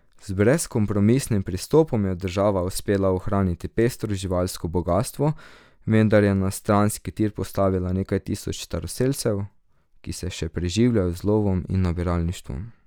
Z brezkompromisnim pristopom je država uspela ohraniti pestro živalsko bogastvo, vendar je na stranski tir postavila nekaj tisoč staroselcev, ki se še preživljajo z lovom in nabiralništvom.